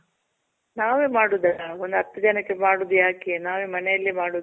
ನಾವೆ ಮಾಡೋದು. ಒಂದ್ ಹತ್ ಜನಕ್ಕೆ ಮಾಡೋದ್ ಯಾಕೆ ನಾವೇ ಮನೇಲಿ ಮಾಡೋದು.